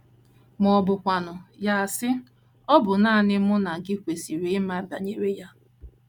Ma ọ bụkwanụ, ya asị: “ Ọ bụ nanị mụ na gị kwesịrị ịma banyere ya.